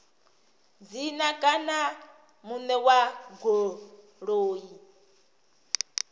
dzina kana muṋe wa goloi